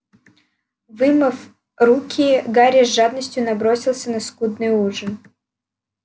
вымыв руки гарри с жадностью набросился на скудный ужин